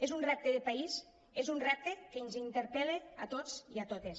és un repte de país és un repte que ens interpel·la a tots i a totes